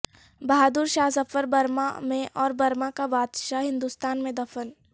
بہادر Shah Zafar Burma میں اور Burma کا بادشاہ ہندوستان میں دفن